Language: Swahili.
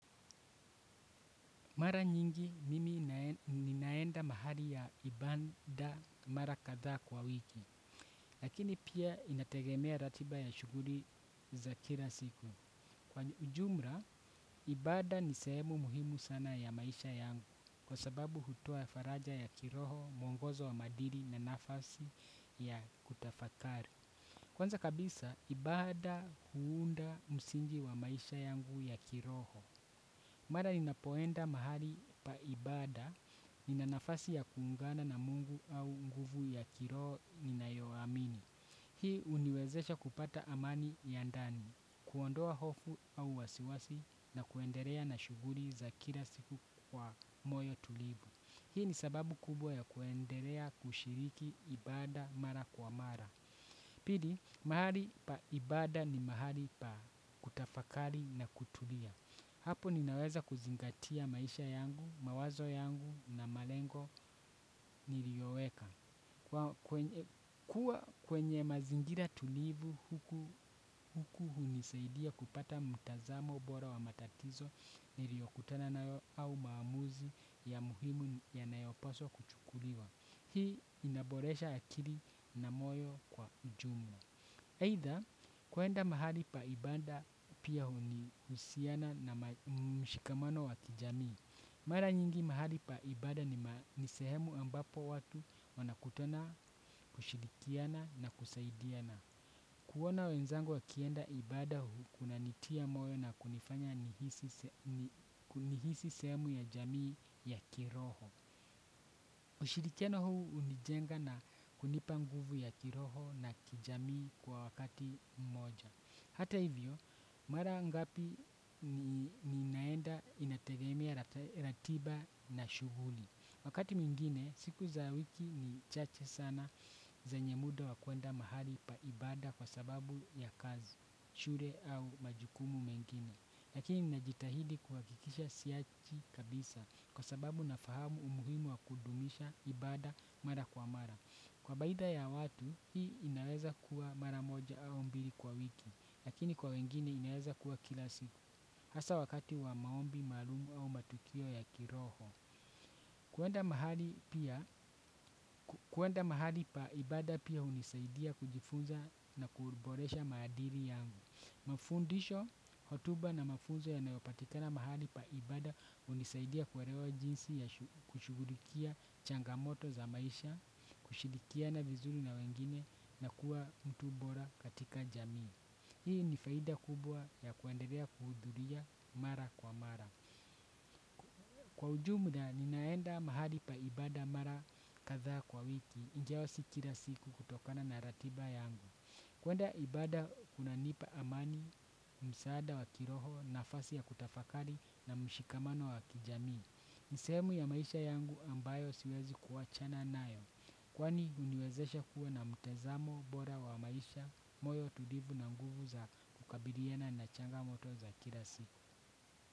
Mara nyingi mimi ninaenda mahali ya kibanda mara katha kwa wiki. Lakini pia inategemeya ratiba ya shughuli ya kila siku. Kwa ujumla, ibada ni sehemu muhimu sana ya maisha yangu. Kwa sababu hutua faraja ya kiroho, mwongozo wa madiri na nafasi ya kutafakari. Kwanza kabisa, ibada huunda msingi wa maisha yangu ya kiroho. Mara ninapo enda mahali ibada nina nafasi ya kujiunga na mungu au nafasi ya kiroho ninayo hamini. Hii uniwezesha kupata amani ya ndani, kuondoa hofu au wasiwasi na kuenderea na shuguri za kila siku kwa moyo tulivu. Hii ni sababu kubwa ya kushiriki ibada mara kwa mara. Pili, mahali pa ibada ni mahali pa kutafakali na kutulia. Hapo ninaweza kuzingatia maisha yangu, mawazo yangu na malengo niliyoweka. Kuwa kwenye mazingira tulivu huku hunisaidia kupata mtazamo bora wa matatizo niliyokutana nayo au mamuzi ya muhimu ya nayoposwa kuchukuliwa. Hii inaboresha akiri na moyo kwa ujumla. Heitha kuenda mahali pa ibanda pia huni usiana na mshikamano wa kijamii. Mara nyingi mahali pa ibada ni sehemu ambapo watu wanakutona kushirikiana na kusaidiana. Kuwona wenzangu wakienda ibada huu kuna nitia moyo na kunifanya nihisi sehemu ya jamii ya kiroho. Ushirikiano huu unijenga na kunipa nguvu ya kiroho na kijami kwa wakati mmoja. Hata hivyo, mara ngapi ni naenda inategemea ratiba na shughuli. Wakati mwingine, siku za wiki ni chache sana zenye muda wakuenda mahali paibada kwa sababu ya kazi, shule au majukumu mengine. Lakini na jitahidi kuakikisha siachi kabisa kwa sababu na fahamu umuhimu wa kudumisha ibada mara kwa mara. Kwa baida ya watu hii inaweza kuwa mara moja au mbili kwa wiki. Lakini kwa wengine inaweza kuwa kila siku. Asa wakati wa maombi mahalumu au matukio ya kiroho. Kuenda mahali pia, kuenda mahali pa ibada pia unisaidia kujifunza na kuboresha maadiri yangu. Fundisho hotuba na mafunzo yanayo patikana mahali pa ibada unisaidia kuhelewa jinsi ya kushughulikia changamoto za maisha. Kushirikiana vizuri na wengine na kuwa mtu bora katika jamii. Hii ni faida kubwa ya kuendelea kuhudhulia mara kwa mara. Kwa ujumla, ninaenda mahali pa ibada mara katha kwa wiki, ijawa si kila siku kutokana na ratiba yangu. Kwenda ibada kuna nipa amani, msaada wakiroho, nafasi ya kutafakari na mshikamano wakijami. Ni sehemu ya maisha yangu ambayo siwezi kuachana nayo. Kwani uniwezesha kuwa na mtazamo bora wa maisha, moyo tulivu na nguvu za kukabiriana na changamoto za kila siku.